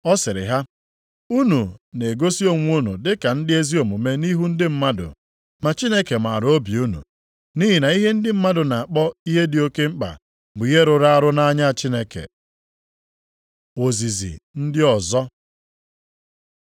Ọ sịrị ha, “Unu na-egosi onwe unu dị ka ndị ezi omume nʼihu ndị mmadụ ma Chineke maara obi unu. Nʼihi na ihe ndị mmadụ na-akpọ ihe dị oke mkpa bụ ihe rụrụ arụ nʼanya Chineke. Ozizi ndị ọzọ